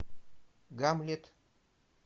гамлет